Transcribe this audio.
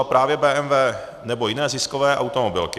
Třeba právě BMW nebo jiné ziskové automobilky.